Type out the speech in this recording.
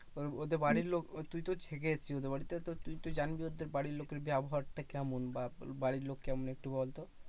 ওদের বাড়ির লোক তুই তো থেকে এসেছিস বাড়িতে তো তুই জানবি ওদের বাড়ির লোকের ব্যবহারটা কেমন? বা বাড়ির লোক কেমন একটু বলতো?